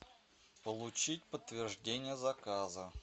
получить подтверждение заказа